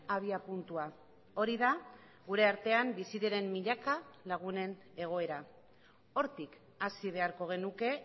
abiapuntua hori da gure artean bizi diren milaka lagunen egoera hortik hasi beharko genuke